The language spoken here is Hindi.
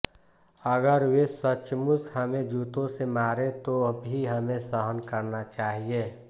अगर वे सचमुच हमें जूतों से मारें तो भी हमें सहन करना चाहिए